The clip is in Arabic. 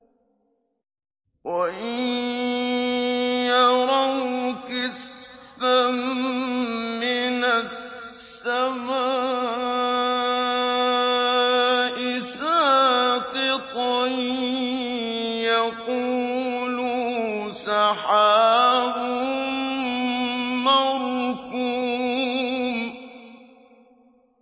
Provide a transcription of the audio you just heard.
وَإِن يَرَوْا كِسْفًا مِّنَ السَّمَاءِ سَاقِطًا يَقُولُوا سَحَابٌ مَّرْكُومٌ